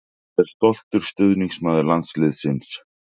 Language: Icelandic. Ég er stoltur stuðningsmaður landsliðsins.